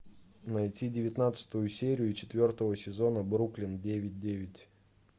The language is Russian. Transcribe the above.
найти девятнадцатую серию четвертого сезона бруклин девять девять